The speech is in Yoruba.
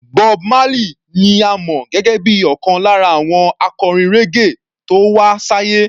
Bob Marley ni a mọ̀ gẹ́gẹ́ bíi ọ̀kan lára àwọn akọrin raggae tó wá sáyé.